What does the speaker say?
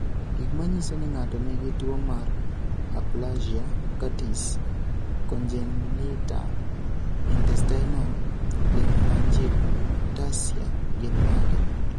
Gik manyiso ni ng'ato nigi tuwo mar aplasia cutis congenita intestinal lymphangiectasia gin mage?